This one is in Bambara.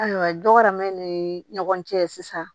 Ayiwa dɔramɛ ni ni ɲɔgɔn cɛ sisan